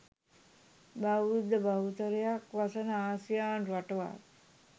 බෞද්ධ බහුතරයක් වසන ආසියානු රටවල්